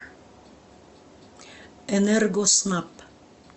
энергоснаб